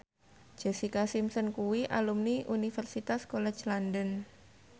Jessica Simpson kuwi alumni Universitas College London